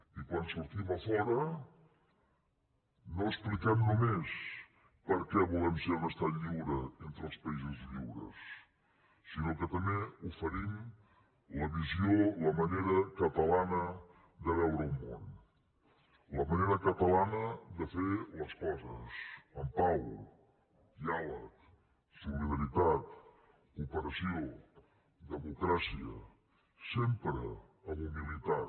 i quan sortim a fora no expliquem només per què volem ser un estat lliure entre els països lliures sinó que també oferim la visió la manera catalana de veure el món la manera catalana de fer les coses amb pau diàleg solidaritat cooperació democràcia sempre amb humilitat